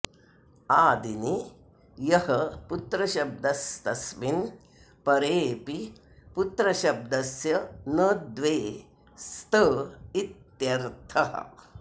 आदिनि यः पुत्रशब्दस्तस्मिन् परेऽपि पुत्रशब्दस्य न द्वे स्त इत्यर्थः